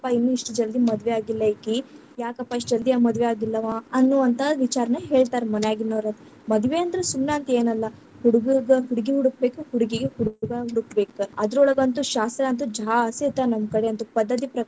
ಇನ್ನು ಇಷ್ಟ ಜಲ್ದಿ ಮದುವಿ ಆಗಿಲ್ಲಾ ಈಕಿ, ಯಾಕಪ್ಪಾ ಇಷ್ಟ ಜಲ್ದಿ ಮದ್ವಿ ಆಗಿಲ್ಲವಾ ಅನ್ನುವಂತಾ ವಿಚಾರನ್ನ ಹೇಳ್ತಾರ ಮನ್ಯಾಗಿನ್ವರ್‌, ಮದುವೆ ಅಂತ್ರು ಸುಮ್ಮನ ಅಂತ ಏನಲ್ಲಾ ಹುಡುಗುರ್ದು ಹುಡುಗಿ ಹುಡಕಬೇಕ, ಹುಡುಗಿಗೆ ಹುಡುಗಾ ಹುಡುಕಬೇಕ, ಅದರೊಳಗಂತು ಶಾಸ್ತ್ರಾ ಅಂತೂ ಜಾಸ್ತಿ ಇರ್ತಾವ ನಮ್ಮಕಡೆ ಅಂತೂ ಪದ್ಧತಿ.